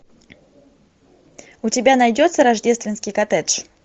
у тебя найдется рождественский коттедж